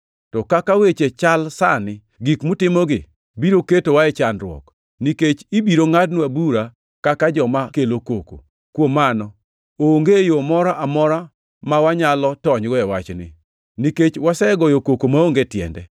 To kaka weche chal sani, gik mutimogi biro ketowa e chandruok, nikech ibiro ngʼadnwa bura kaka joma kelo koko. Kuom mano, onge yo moro amora ma wanyalo tonygo e wachni, nikech wasegoyo koko maonge tiende.”